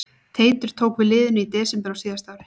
Teitur tók við liðinu í desember á síðasta ári.